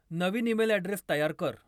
नवीन email address तयार कर.